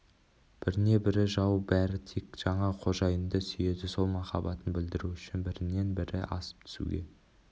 біріне бірі жау бәрі тек жаңа қожайынды сүйеді сол махаббатын білдіру үшін бірінен бірі асып түсуге